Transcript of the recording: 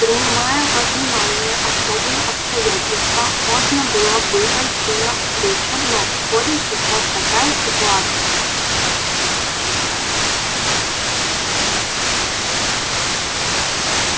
принимая во внимание особые обстоятельства можно было бы пойти тебе навстречу но в школе сейчас такая ситуация